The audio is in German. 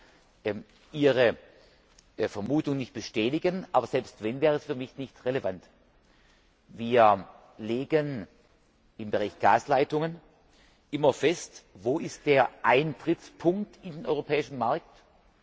ich kann Ihre Vermutung nicht bestätigen, aber selbst wenn, wäre es für mich nicht relevant. Wir legen im Bereich Gasleitungen immer fest, wo der Eintrittspunkt in den europäischen Markt ist.